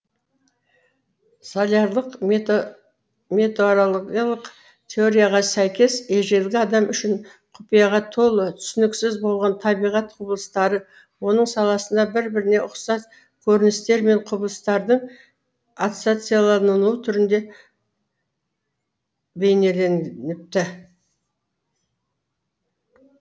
солярлық меторологиялық теорияға сәйкес ежелгі адам үшін құпияға толы түсініксіз болған табиғат құбылыстары оның санасында бір біріне ұқсас көріністер мен құбылыстардың ассоциациялануы түрінде бейнеленіпті